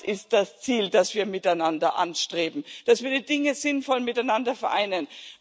Das ist das Ziel, das wir miteinander anstreben, dass wir die Dinge sinnvoll miteinander vereinen.